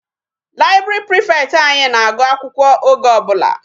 Library prefect anyị na-agụ akwụkwọ oge ọbụla.